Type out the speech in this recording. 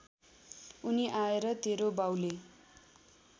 उनी आएर तेरो बाउले